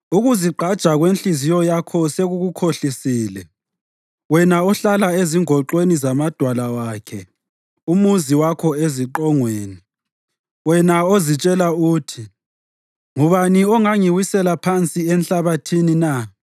Ukuzigqaja kwenhliziyo yakho sekukukhohlisile, wena ohlala ezingoxweni zamadwala wakhe umuzi wakho eziqongweni, wena ozitshela uthi, ‘Ngubani ongangiwisela phansi enhlabathini na?’